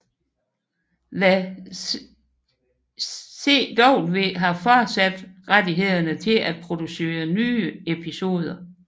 The CW har fortsat rettighederne til at producere nye episoder